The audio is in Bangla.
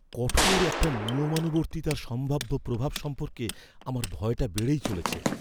কঠোর একটা নিয়মানুবর্তিতার সম্ভাব্য প্রভাব সম্পর্কে আমার ভয়টা বেড়েই চলেছে।